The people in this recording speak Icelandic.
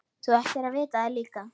Þú ættir að vita það líka.